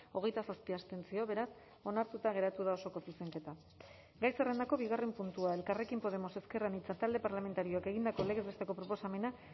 hogeita zazpi abstentzio beraz onartuta geratu da osoko zuzenketa gai zerrendako bigarren puntua elkarrekin podemos ezker anitza talde parlamentarioak egindako legez besteko proposamena